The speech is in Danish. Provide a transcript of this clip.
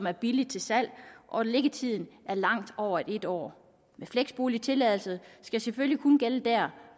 er billigt til salg og liggetiden er langt over et år men fleksboligtilladelsen skal selvfølgelig kun gælde der